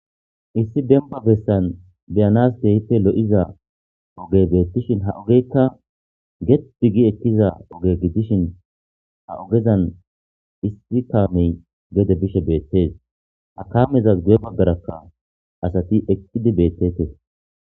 Issi demba besan be'anasi kehippe loo'iza oge betishin hageka gede gedi gi ekiza oge gidishin ha ogezan issi kame gede bishe beetes. Ha kamezas guye bagaraka asati eqidi beetetes.